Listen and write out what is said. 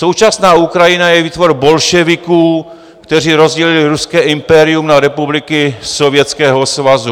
Současná Ukrajina je výtvor bolševiků, kteří rozdělili ruské impérium na republiky Sovětského svazu.